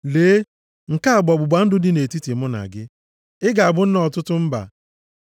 “Lee, nke a bụ ọgbụgba ndụ dị nʼetiti mụ na gị. Ị ga-abụ nna ọtụtụ mba.